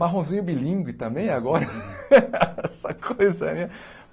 Marronzinho bilíngue também agora, essa coisa, né?